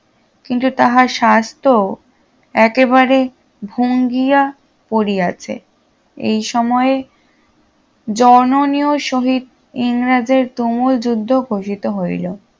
কিন্তু তাহার স্বাস্থ্য একেবারে ভঙ্গিয়া পড়িয়াছে এই সময়ে জননীয় সহিত ইংরেজের তুমুল যুদ্ধ ঘোষিত হইল